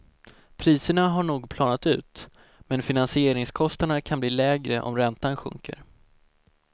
Priserna har nog planat ut, men finansieringskostnaderna kan bli lägre om räntan sjunker.